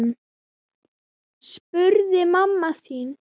spurði mamma þín.